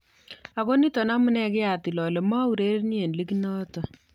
Ago nito amunee kiatil ole maaurereni eng ligit noto ".